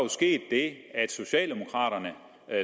sket det at socialdemokraterne